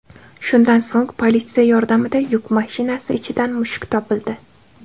Shundan so‘ng politsiya yordamida yuk mashinasi ichidan mushuk topildi.